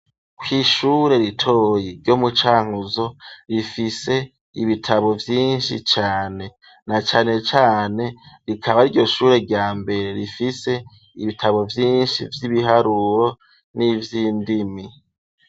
Kw' ishure ritoyi ryo mucankuzo, rifise ibitabo vyinshi cane, na cane cane rikaba ryo shure rya mbere rifise ibitabo vyinshi vy'ibiharuro, n'ivy'indimi.